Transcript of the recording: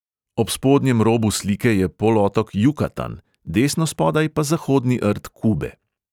Ob spodnjem robu slike je polotok jukatan, desno spodaj pa zahodni rt kube.